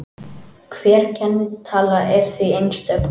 Hver kennitala er því einstök.